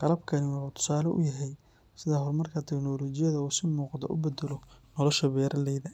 Qalabkani wuxuu tusaale u yahay sida horumarka tiknoolajiyada uu si muuqata u beddelo nolosha beeraleyda.